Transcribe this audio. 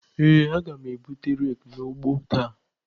Ee, aga m ebuta rake n'ugbo ta.